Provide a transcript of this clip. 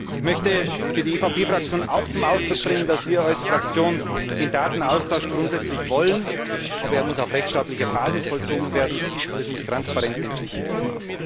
Ich möchte für die EVP Fraktion auch zum Ausdruck bringen, dass wir als Fraktion den Datenaustausch grundsätzlich wollen, aber er muss auf rechtsstaatlicher Basis vollzogen werden, und es muss transparent entschieden werden.